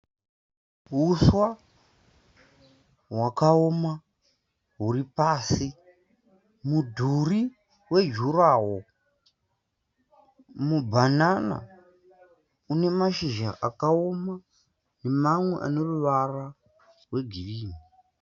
Huswa hwakaoma huri pasi, mudhuri wejurahoro, mubhanana une mashizha akaoma nemamwe ane ruvara rwegirini.